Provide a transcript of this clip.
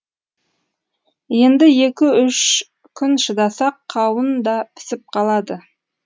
енді екі үш күн шыдасақ қауын да пісіп қалады